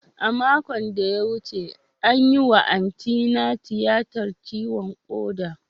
A makon da ya wuce, an yi wa Antina tiyatar ciwon koda.